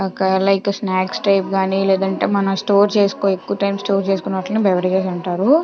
ఒక అలా like snacks type గాని లేదంటే మనం స్టోర్ చేసుకో ఎక్కువ టైం స్టార్ట్ చేసుకున్న దాన్ని బెవర్గేస్ అంటారు.